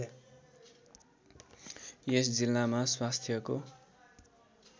यस जिल्लामा स्वास्थ्यको